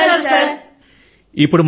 ధన్యవాదములు సర్ ధన్యవాదములు